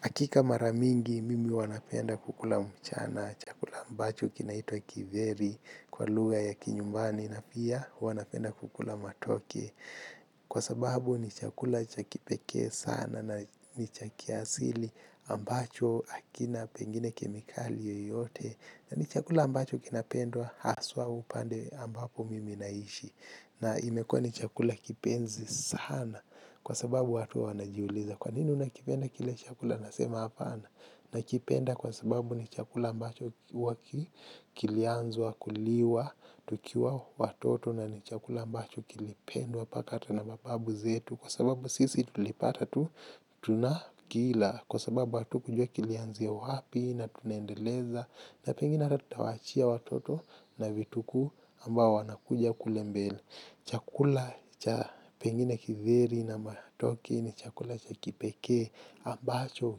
Hakika mara mingi mimi huwa napenda kula mchana chakula ambacho kinaitwa kitheri kwa lugha ya kinyumbani na pia huwa napenda kula matokee. Kwa sababu ni chakula cha kipeke sana na ni cha kiasili ambacho akina pengine kemikali yoyote. Na ni chakula ambacho kinapendwa haswa upande ambapo mimi naishi. Na imekua ni chakula kipenzi sana kwa sababu watu wanajiuliza kwa nini unakipenda kile chakula nasema apana nakipenda kwa sababu ni chakula ambacho huwa ki kilianzwa kuliwa tukiwa watoto na ni chakula mbacho kilipendwa paka ata na mababu zetu kwa sababu sisi tulipata tu tunakila kwa sababu hatu kujua kilianzi ya wapi na tunendeleza na pengine rhata tutawachia watoto na vituku ambao wanakuja kule mbele. Chakula cha pengine kitheri na matoke ni chakula cha kipeke ambacho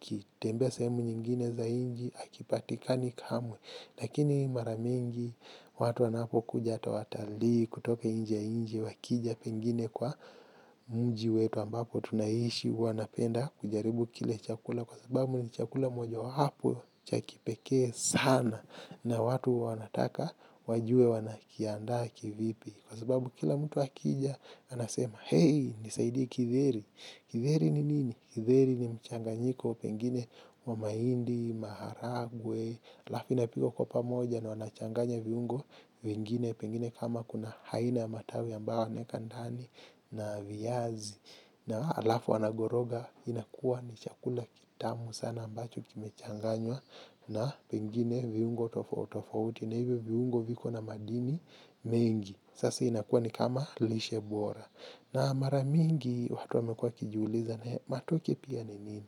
kitembea sehemu nyingine za inchi akipatika ni kamwe. Lakini maramingi watu wanapo kuja ata watali kutoka inje inje wakija pengine kwa mji wetu ambapo tunaishi wanapenda kujaribu kile chakula kwa sababu ni chakula moja hapo cha kipeke sana na watu wanataka wajue wanakianda kivipi kwa sababu kila mtu wakija anasema hei nisaidi kitheri kitheri ni nini? Kitheri ni mchanganyiko pengine wamahindi, maharagwe alafu napikwa kwa pamoja na wanachanganya viungo vingine pengine kama kuna haina matawi ambao wanaeka ndani na viyazi na alafu wanagoroga inakuwa ni chakula kitamu sana ambacho kimechanganywa na pengine viungo tofauti na hivyo viungo viko na madini mingi. Sasa inakuwa ni kama lishebora. Na maramingi watu wamekua wakijuliza na hea matoke pia ni nini?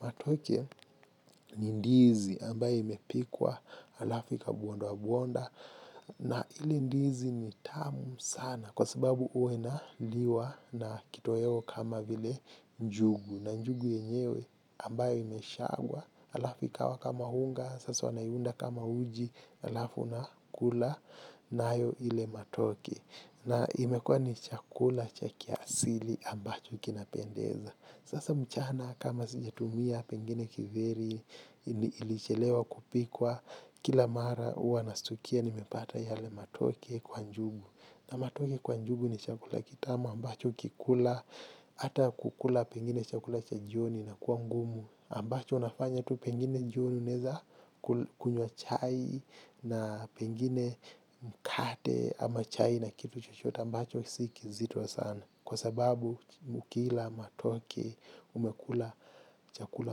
Matoke ni ndizi ambaye imepikwa alafu ikabondwa bonda na ile ndizi ni tamu sana sababu huwa inaliwa na kitoweo kama njugu na njugu ynyewe ambayo imeshagwa alafu ikawa kama unga alafu inaundwa kama uji alafu unakula nayo ile matoke. Na imekua ni chakula cha kiasili ambacho kinapendeza. Sasa mchana kama sijatumia pengine kiveri, ilichelewa kupikwa, kila mara uwa nastukia nimepata yale matoke kwa njugu. Na matoke kwa njugu ni chakula kitama ambacho ukikula ata kukula pengine chakula cha jioni na kuangumu. Ambacho unafanya tu pengine jioni uneza kunywa chai na pengine mkate ama chai na kitu chochote ambacho sikizito sana. Kwa sababu ukila matoke umekula chakula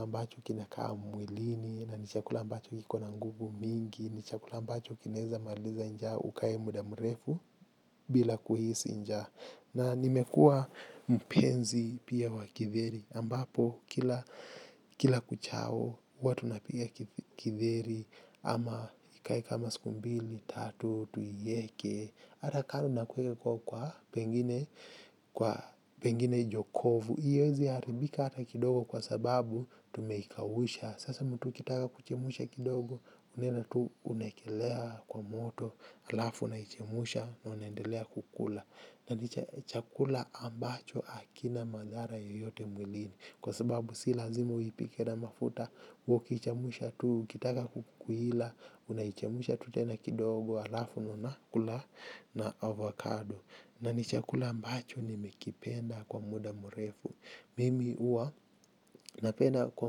ambacho kina kaa mwilini na ni chakula ambacho kiko na nguvu mingi. Ni chakula ambacho kineza maliza njaa ukai muda mrefu bila kuhisi nja na nimekua mpenzi pia wa kitheri ambapo kila kuchao huwa tunapiga kitheri ama ikai kama siku mbili, tatu, tuieke ata kano nakueke kwa kwa pengine kwa pengine jokovu hiyezi haribika ata kidogo kwa sababu tumekawusha sasa mtu kitaka kuchemusha kidogo. Unela tu unakelea kwa moto. Alafu naichemusha na unendelea kukula. Na ni chakula ambacho akina madhara yoyote mwilini. Kwa sababu si lazima uwipike na mafuta ukichemusha tu ukitaka kukuila. Unaichemusha tutena kidogo alafu na unakula na avocado. Na ni chakula ambacho nimekipenda kwa muda murefu. Mimi uwa napenda kwa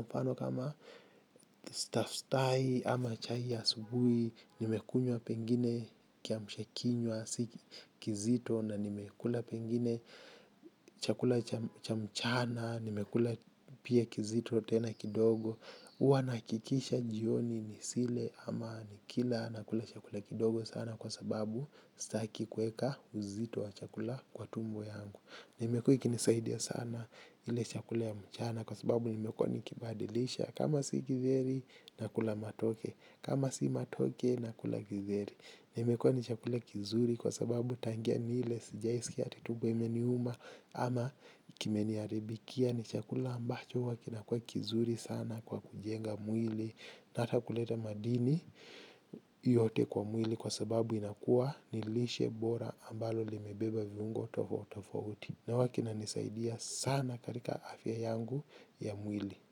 mfano kama stafstai ama chai ya subui nimekunywa pengine kiamshakinywa kizito na nimekula pengine chakula cha mchana nimekula pia kizito tena kidogo huwanaakikisha jioni ni sile ama nikila nakula chakula kidogo sana kwa sababu staki kueka uzito wa chakula kwa tumbo yangu nimekua ikinisaidia sana ile chakula ya mchana kwa sababu nimekuwa nikibadilisha kama si kitheri nakula matoke kama si matoke nakula kitheri imekuwa ni chakula kizuri kwa sababu tangia nile sijai sikia sijui ati tumbo imeniuma ama kimenia ribikia. Ni chakula ambacho wa kinakua kizuri sana kwa kujenga mwili. Na ata kuleta madini yote kwa mwili. Kwa sababu inakua nilishe bora ambalo limebeba viungo tofautofauti. Na wakina nisaidia sana karika afya yangu ya mwili.